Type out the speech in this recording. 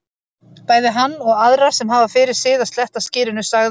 Bæði hann og aðra sem hafa fyrir sið að sletta skyrinu, sagði